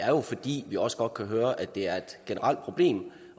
jo fordi vi også godt kan høre at det er et generelt problem